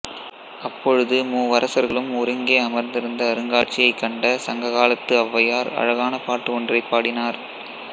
அப்பொழுது மூவரசர்களும் ஒருங்கே அமர்ந்திருந்த அருங்காட்சியை கண்ட சங்க காலத்து ஔவயார் அழகான பாட்டுப் ஒன்றை பாடினார்